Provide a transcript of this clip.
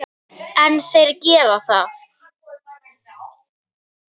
En þeir gera það.